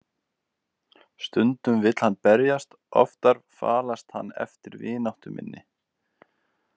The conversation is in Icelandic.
Stundum vill hann berjast, oftar falast hann eftir vináttu minni.